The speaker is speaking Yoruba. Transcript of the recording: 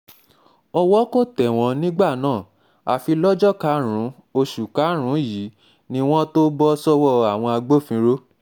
owó kò tẹ̀ wọ́n nígbà náà afi lọ́jọ́ karùn-ún oṣù karùn-ún um yìí ni wọ́n tóó bọ́ sọ́wọ́ um àwọn agbófinró